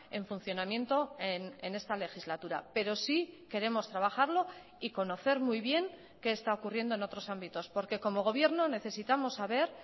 en funcionamiento en esta legislatura pero sí queremos trabajarlo y conocer muy bien qué está ocurriendo en otros ámbitos porque como gobierno necesitamos saber